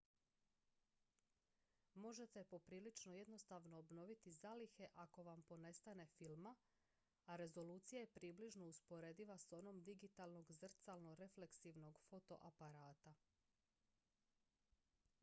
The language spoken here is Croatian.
možete poprilično jednostavno obnoviti zalihe ako vam ponestane filma a rezolucija je približno usporediva s onom digitalnog zrcalno-refleksivnog fotoaparata